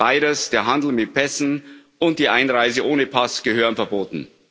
Beides, der Handel mit Pässen und die Einreise ohne Pass, gehören verboten.